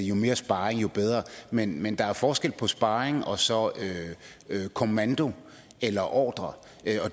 jo mere sparring jo bedre men men der er forskel på sparring og så kommando eller ordre